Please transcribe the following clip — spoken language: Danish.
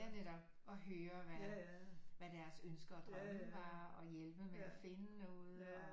Ja netop og høre hvad hvad deres ønsker og drømme var og hjælpe med at finde noget og